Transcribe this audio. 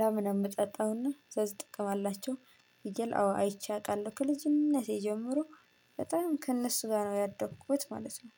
የላም እምጠጣውና ብዙ ጥቅም አላቸው። ፍየል አዎ አይቼ አውቃለሁ ከልጅነቴ ጀምሮ በጣም ከእነሱ ጋር ነው ያደኩት ማለት ነው።